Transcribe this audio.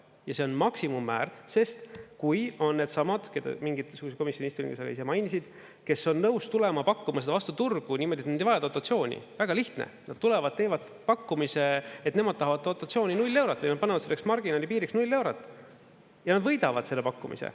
Ja see on maksimummäär, sest kui on needsamad – mingil komisjoni istungil sa ise mainisid –, kes on nõus tulema pakkuma seda vastu turgu niimoodi, et nad ei vaja dotatsiooni, väga lihtne: nad tulevad, teevad pakkumise, et nemad tahavad dotatsiooni 0 eurot ja nad panevad selleks marginaali piiriks 0 eurot ja võidavad selle pakkumise.